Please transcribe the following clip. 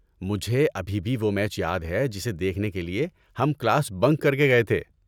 مجھے ابھی بھی وہ میچ یاد ہے جسے دیکھنے کے لیے ہم کلاس بنک کر کے گئے تھے۔